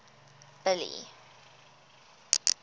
billy